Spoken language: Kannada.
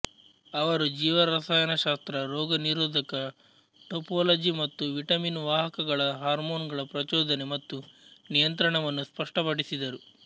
ಅವರು ಜೀವರಸಾಯನಶಾಸ್ತ್ರ ರೋಗನಿರೋಧಕಟೋಪೋಲಜಿ ಮತ್ತು ವಿಟಮಿನ್ ವಾಹಕಗಳ ಹಾರ್ಮೋನುಗಳ ಪ್ರಚೋದನೆ ಮತ್ತು ನಿಯಂತ್ರಣವನ್ನು ಸ್ಪಷ್ಟಪಡಿಸಿದರು